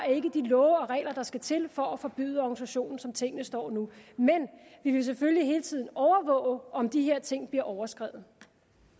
de love og regler der skal til for at forbyde organisationen som tingene står nu men vi vil selvfølgelig hele tiden overvåge om de her ting bliver overskredet